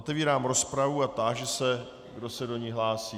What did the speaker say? Otevírám rozpravu a táži se, kdo se do ní hlásí.